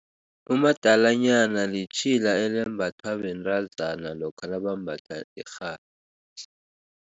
Umadalanyana litjhila elembathwa bentazana lokha nabambatha irhabi.